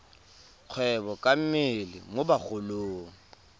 kgwebo ka mmele mo bagolong